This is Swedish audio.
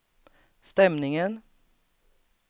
stämningen